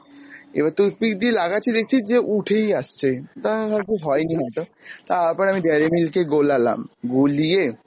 এবার toothpick দিয়ে লাগাচ্ছি দেখছি যে উঠেই আসছে, ভাবছি হয়নি হয়তো, তারপরে আমি dairy milk কে গোলালাম, গুলিয়ে